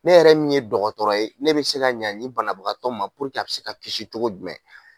Ne yɛrɛ min ye dɔgɔtɔrɔ ye ne bɛ se ka ɲa nin banabagatɔ ma a bɛ se ka kisi cogo jumɛn.